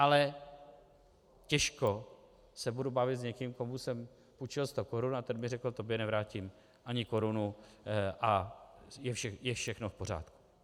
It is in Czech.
Ale těžko se budu bavit s někým, komu jsem půjčil sto korun a ten mi řekl: tobě nevrátím ani korunu a je všechno v pořádku.